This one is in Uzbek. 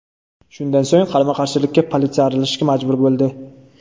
Shundan so‘ng qarama-qarshilikka politsiya aralashishga majbur bo‘ldi.